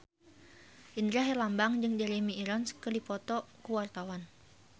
Indra Herlambang jeung Jeremy Irons keur dipoto ku wartawan